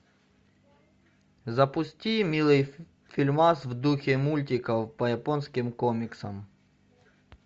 запусти милый фильмас в духе мультиков по японским комиксам